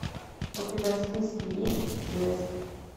у тебя в списке есть блеск